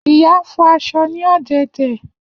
Iya n fọ aṣọ ni ọdẹdẹ.